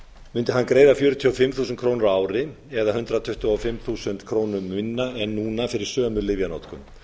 hann greiða fjörutíu og fimm þúsund krónur á ári eða hundrað tuttugu og fimm þúsund krónum minna en núna fyrir sömu lyfjanotkun